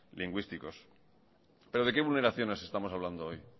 lingüísticos pero de qué vulneraciones estamos hablando hoy